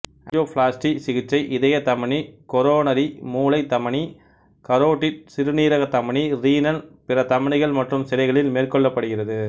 angioplasty சிகிச்சை இதய தமனிகொரோனரி மூளை தமனி கரோடிட் சிறுநீரக தமனி ரீனல் பிற தமனிகள் மற்றும் சிரைகளில் மேற்கொள்ளப்படுகிறது